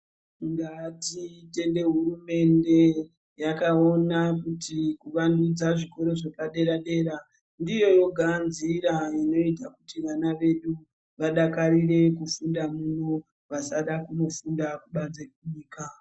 Ngatitende hurumende yakaona kuti kuvandudza zvikoro zvepadera-dera ndiyo yoga nzira inoita kuti vana vedu vadakarire kufunda muno vasada kunofunda kubanze kwenyika.